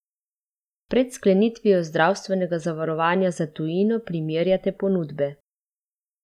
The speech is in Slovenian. Pred sklenitvijo zdravstvenega zavarovanja za tujino primerjate ponudbe.